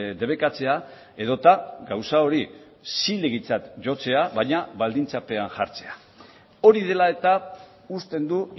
debekatzea edota gauza hori zilegitzat jotzea baina baldintzapean jartzea hori dela eta uzten du